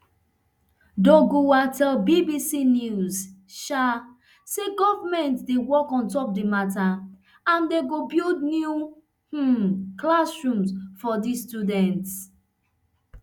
doguwa tell bbc news pidgin um say government dey work ontop di mata and dem go build new um classrooms for di school